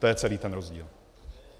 To je celý ten rozdíl.